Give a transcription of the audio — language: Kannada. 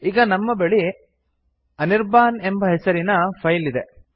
ಈಗ ನಮ್ಮ ಬಳಿ ಅನಿರ್ಬಾನ್ ಹೆಸರಿನ ಫೈಲ್ ಇದೆ